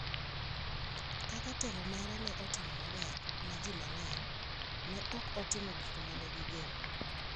Kaka telo mare ne otimo maber ne ji mang’eny, ne ok otimo gik ma ne gigeno.